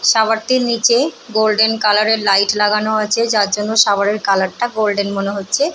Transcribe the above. Shower নিচে golden কালারের light লাগানো আছে। যার জন্য শাওয়ারের কালারটা গোল্ডেন মনে হচ্ছে ।